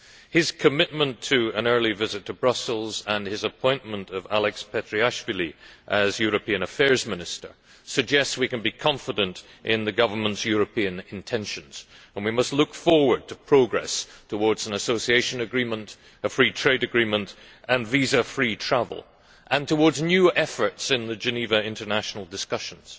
His commitment to an early visit to Brussels, and his appointment of Alex Petriashvili as European Affairs Minister, suggests we can be confident in the government's European intentions and must look forward to progress towards an association agreement, a free trade agreement and visa free travel, and new efforts in the Geneva international discussions.